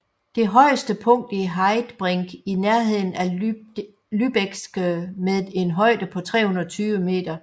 Det højeste punkt er Heidbrink i nærheden af Lübbecke med en højde på 320 meter